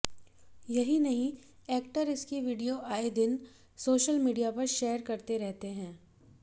यही नहीं एक्टर इसकी वीडियो आए दिन सोशल मीडिया पर शेयर करते रहते हैं